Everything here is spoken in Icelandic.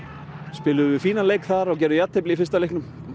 spiluðum við fínan leik þar og gerðum jafntefli í fyrsta leiknum